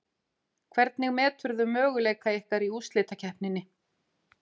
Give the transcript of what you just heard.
Hvernig meturðu möguleika ykkar í úrslitakeppninni?